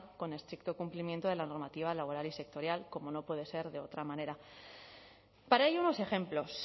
con estricto cumplimiento de la normativa laboral y sectorial como no puede ser de otra manera para ello unos ejemplos